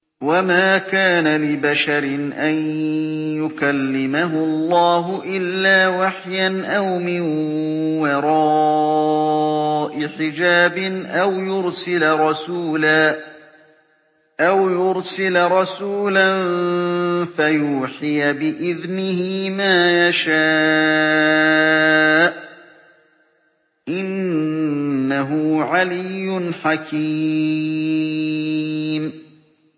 ۞ وَمَا كَانَ لِبَشَرٍ أَن يُكَلِّمَهُ اللَّهُ إِلَّا وَحْيًا أَوْ مِن وَرَاءِ حِجَابٍ أَوْ يُرْسِلَ رَسُولًا فَيُوحِيَ بِإِذْنِهِ مَا يَشَاءُ ۚ إِنَّهُ عَلِيٌّ حَكِيمٌ